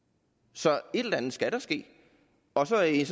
så et eller andet skal der ske og så er jeg